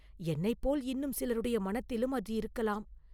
என்னைப் போல் இன்னும் சிலருடைய மனத்திலும் அது இருக்கலாம்.